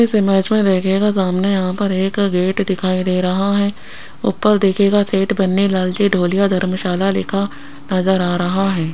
इस इमेज मे देखियेगा सामने यहाँ पर एक गेट दिखाई दे रहा है ऊपर देखियेगा सीट बनी डोलिया धर्मशाला लिखा नजर आ रहा है।